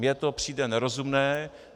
Mně to přijde nerozumné.